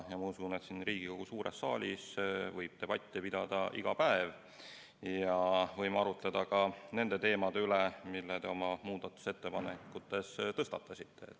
Ma usun, et siin Riigikogu suures saalis võib debatti pidada iga päev ja võime arutleda ka nende teemade üle, mille te oma muudatusettepanekutega tõstatasite.